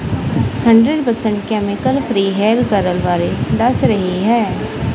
Hundred percent chemical free hair curl ਬਾਰੇ ਦੱਸ ਰਹੀ ਹੈ।